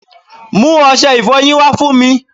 mú ọṣẹ ìfọyín wá fún mi